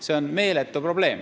See on meeletu probleem.